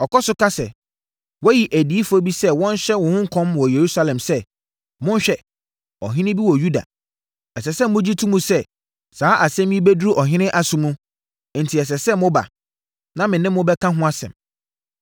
Ɔkɔ so ka sɛ, woayi adiyifoɔ bi sɛ wɔnhyɛ wo ho nkɔm wɔ Yerusalem sɛ, ‘Monhwɛ! Ɔhene bi wɔ Yuda!’ Ɛsɛ sɛ wogye to mu sɛ, saa asɛm yi bɛduru ɔhene aso mu, enti ɛsɛ sɛ woba, na wo ne me bɛka ho asɛm.”